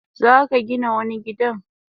Zaka Gina wani gidan?